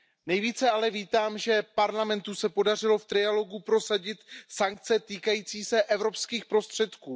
Nejvíce ale vítám, že Parlamentu se podařilo v trialogu prosadit sankce týkající se evropských prostředků.